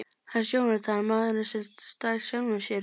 Hans Jónatan: Maðurinn sem stal sjálfum sér.